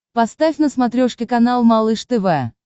поставь на смотрешке канал малыш тв